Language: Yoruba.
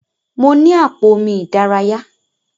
Mo ni àpò omi ìdárayá.